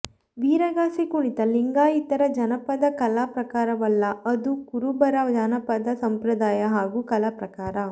ವೀರಗಾಸೆ ಕುಣಿತ ಲಿಂಗಾಯಿತರ ಜಾನಪದ ಕಲಾ ಪ್ರಕಾರವಲ್ಲ ಅದು ಕುರುಬರ ಜಾನಪದ ಸಂಪ್ರದಾಯ ಹಾಗೂ ಕಲಾ ಪ್ರಕಾರ